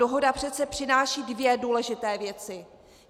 Dohoda přece přináší dvě důležité věci.